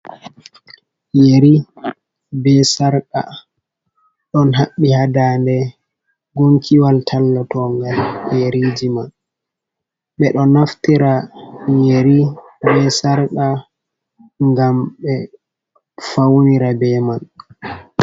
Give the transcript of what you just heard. Yeri be sarka ɗon haɓɓi haa ndaande gunkiwal tallatonga yeriiji man. Ɓe ɗo naftira yeri be sarka, ngam ɓe fawnira be man.